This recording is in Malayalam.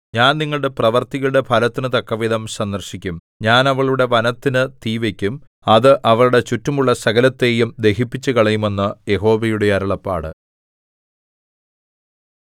ഞാൻ നിങ്ങളുടെ പ്രവൃത്തികളുടെ ഫലത്തിനു തക്കവിധം സന്ദർശിക്കും ഞാൻ അവളുടെ വനത്തിനു തീ വയ്ക്കും അത് അവളുടെ ചുറ്റുമുള്ള സകലത്തെയും ദഹിപ്പിച്ചുകളയും എന്ന് യഹോവയുടെ അരുളപ്പാട്